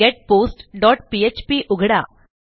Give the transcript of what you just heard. getpost dot PHP उघडा